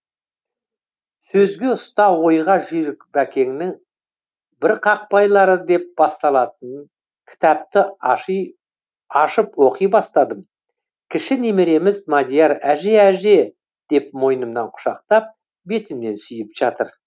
сөзге ұста ойға жүйрік бәкеннің бірқақпайлары деп басталатын кітапты ашып оқи бастадым кіші немереміз мадияр әже әже деп мойнымнан құшақтап бетімнен сүйіп жатыр